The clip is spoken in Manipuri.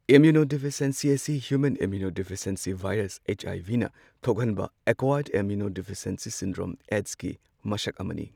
ꯏꯝꯃ꯭ꯌꯨꯅꯣꯗꯤꯐꯤꯁ꯭ꯌꯦꯟꯁꯤ ꯑꯁꯤ human immunodeficiency virus H I V ꯅ ꯊꯣꯛꯍꯟꯕ ꯑꯦꯛꯀ꯭ꯋꯥꯌꯔ ꯏꯝꯃ꯭ꯌꯨꯅꯣꯗꯤꯐꯤꯁ꯭ꯌꯦꯟꯁꯤ ꯁꯤꯟꯗ꯭ꯔꯣꯝ ꯑꯦꯗꯁ ꯀꯤ ꯃꯁꯛ ꯑꯃꯅꯤ꯫